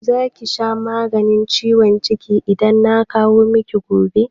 Za ki sha maganin ciwon ciki idan na kawo miki gobe?